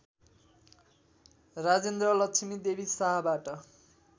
Rajendra Lakshmi Devi शाहबाट